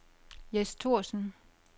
Jes Thorsen